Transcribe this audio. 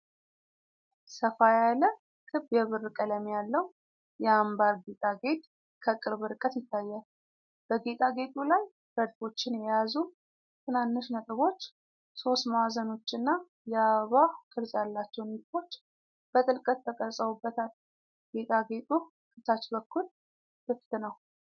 ሰፋ ያለ፣ ክብ የብር ቀለም ያለው የአንባር ጌጣጌጥ ከቅርብ ርቀት ይታያል። በጌጣጌጡ ላይ ረድፎችን የያዙ ትናንሽ ነጥቦች፣ ሦስት ማዕዘኖች እና የአበባ ቅርጽ ያላቸው ንድፎች በጥልቀት ተቀርጸውበታል። ጌጣጌጡ ከታች በኩል ክፍት ነው።